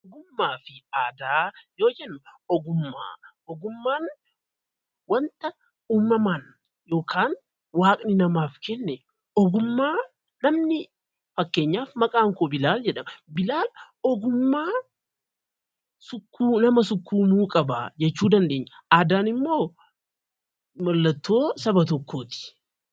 Ogummaa fi aadaa yoo jennu ogummaan wanta uumamaan yookaan waaqni namaaf jedhee kenne fakkeenyaaf maqaan koo biaal jedhama ogummaa nama sukkuumuu qaba jedhama. Aadaan mallattoo saba tokkooti.